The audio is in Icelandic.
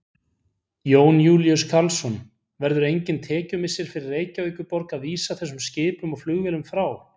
Jón Júlíus Karlsson: Verður engin tekjumissir fyrir Reykjavíkurborg að vísa þessum skipum og flugvélum frá?